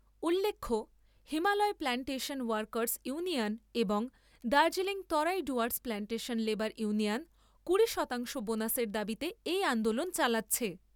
উল্লেখ্য , Himalaya plantation workers union এবং Darjeeling Terai Dooars plantation labour union কুড়ি শতাংশ বোনাসের দাবিতে এই আন্দোলন চালাচ্ছে।